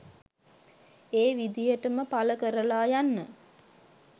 ඒ විදිහටම පල කරලා යන්න